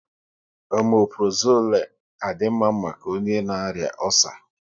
Omaprozole à di mma maka onye na arịa ọcer?